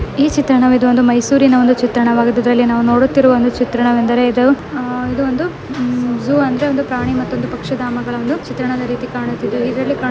ಈ ಚಿತ್ರಣವಿದು ಒಂದು ಮೈಸೂರಿನ ಒಂದು ಚಿತ್ರಣವಾಗಿದ್ದು ಇದರಲ್ಲಿ ನಾವು ನೋಡುತ್ತಿರುವ ಒಂದು ಚಿತ್ರಣವೆಂದಾರೆ ಇದು ಆ ಇದು ಒಂದು ಜೂ ಅಂದರೆ ಒಂದು ಪ್ರಾಣಿ ಮತ್ತೊಂದು ಪಕ್ಷಿದಾಮಗಳ ಒಂದು ಚಿತ್ರಣದ ರೀತಿ ಕಾಣುತ್ತಿದೆ --